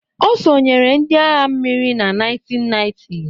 Ọ sonyeere ndị agha mmiri na 1990